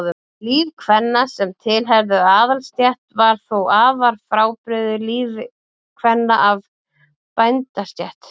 Líf kvenna sem tilheyrðu aðalsstétt var þó afar frábrugðið lífi kvenna af bændastétt.